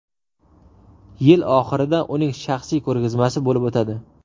Yil oxirida uning shaxsiy ko‘rgazmasi bo‘lib o‘tadi.